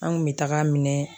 An kun bɛ tag'a minɛ